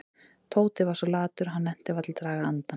Tóti var svo latur að hann nennti varla að draga andann.